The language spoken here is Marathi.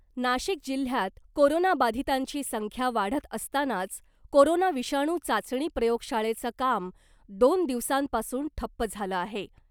नाशिक जिल्ह्यात कोरोनाबाधीतांची संख्या वाढत असतानाच कोरोना विषाणू चाचणी प्रयोगशाळेचं काम दोन दिवसांपासून ठप्प झालं आहे .